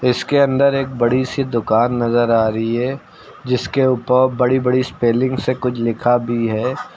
इसके अंदर एक बड़ी सी दुकान नजर आ रही है जिसके ऊपर बड़ी बड़ी स्पेलिंग से कुछ लिखा भी है।